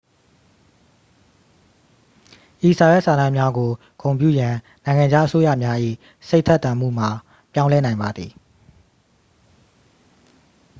ဤစာရွက်စာတမ်းများကို ဂုဏ်ပြုရန် နိုင်ငံခြား အစိုးရများ၏ စိတ်ထက်သန်မှုမှာ ပြောင်းလဲနိုင်ပါသည်